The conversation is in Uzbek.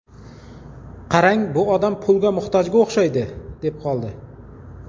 Qarang, bu odam pulga muhtojga o‘xshaydi”, deb qoldi.